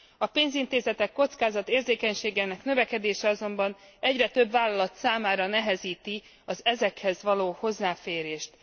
A pénzintézetek kockázatérzékenységének növekedése azonban egyre több vállalat számára nehezíti az ezekhez való hozzáférést.